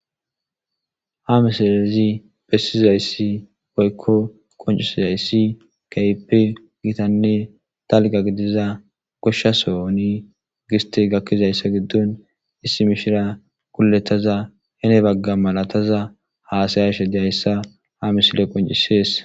Ha misilez besizaysi woyko qoncizays keehippe gitanne dalga gidiza gosha sohoni gistey gakizaysa gidoni issi mishirya gulutada heni Baga malatada hasayashe dizaysa ha misileyi qoncises.